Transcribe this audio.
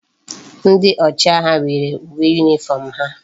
Ndi ochi agha nwere uwe uniform ha